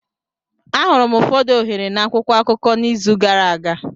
Ahụrụ m ụfọdụ ohere na akwụkwọ akụkọ n'izu gara aga.